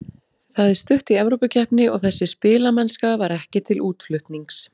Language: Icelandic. Það er stutt í Evrópukeppni og þessi spilamennska var ekki til útflutnings.